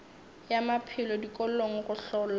ya maphelo dikolong go hlola